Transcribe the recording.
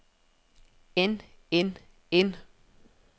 end end end